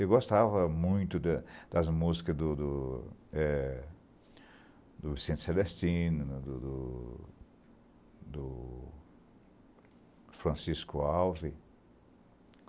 Eu gostava muito da das músicas do do do é do Vicente Celestino, do do do Francisco Alves.